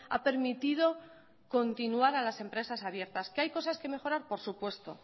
ha permitido continuar a las empresas abiertas que hay cosas que mejorar por supuesto